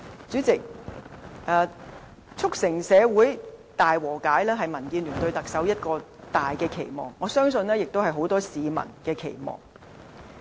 主席，促成社會大和解是民建聯對特首的一個重大期望，我相信亦是很多市民的期望。